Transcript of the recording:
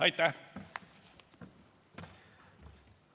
Aitäh!